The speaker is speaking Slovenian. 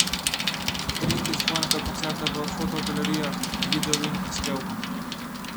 Utrinki z dvojnega koncerta v fotogalerijah, videu in prispevku!